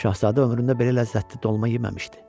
Şahzadə ömründə belə ləzzətli dolma yeməmişdi.